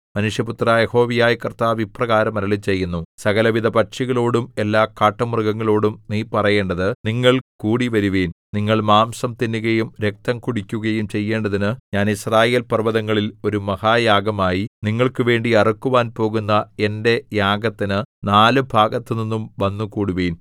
മനുഷ്യപുത്രാ യഹോവയായ കർത്താവ് ഇപ്രകാരം അരുളിച്ചെയ്യുന്നു സകലവിധ പക്ഷികളോടും എല്ലാ കാട്ടുമൃഗങ്ങളോടും നീ പറയേണ്ടത് നിങ്ങൾ കൂടിവരുവിൻ നിങ്ങൾ മാംസം തിന്നുകയും രക്തം കുടിക്കുകയും ചെയ്യേണ്ടതിന് ഞാൻ യിസ്രായേൽ പർവ്വതങ്ങളിൽ ഒരു മഹായാഗമായി നിങ്ങൾക്ക് വേണ്ടി അറുക്കുവാൻ പോകുന്ന എന്റെ യാഗത്തിന് നാലുഭാഗത്തുനിന്നും വന്നുകൂടുവിൻ